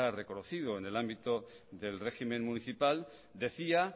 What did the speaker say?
reconocido en el ámbito del régimen municipal decía